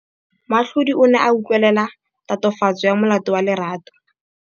Moatlhodi o ne a utlwelela tatofatsô ya molato wa Lerato.